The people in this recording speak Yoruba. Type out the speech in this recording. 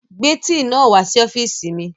Gbé tíì náà wá sí ọ́fìsì mi